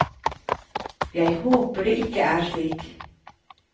Jeg håper det ikke er slik.